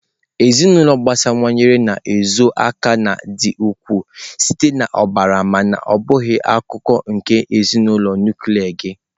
Ezinụlọ agbasawanye na-ezo aka na ndị ikwu site na ọbara mana ọ bụghị akụkụ nke ezinụlọ nuklia gị.